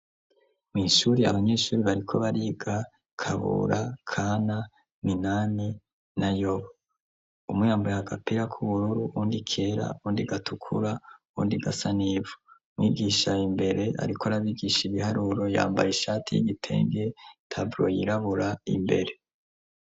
Mw'ishure abanyeshure bariko bariga Kabura, Kana, Minani na Yobu, umwe yambaye agapira k'ubururu, uwundi kera, uwundi gatukura, uwundi gasa n'ivu, mwigisha ar'imbere ariko arabigisha ibiharuro yambaye ishati y'igitenge, taboro yirabura imbere.